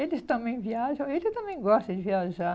Eles também viajam, ele também gosta de viajar.